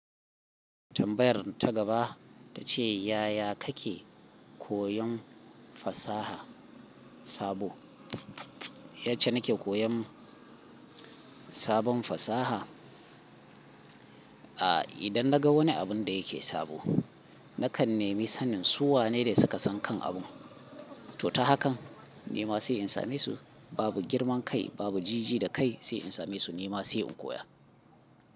Tambayar ta gaba ta ce, yaya kake koyon fasaha sabo? Yace nake koyan sabon fasaha. A idan naga wani abin da yake sabo, nakan nemi sanin su wa ne da suka san kan abun. To ta hakan, nema sai in same su. Babu girman kai, babu jiji da kai sai in same su nema sai in koya.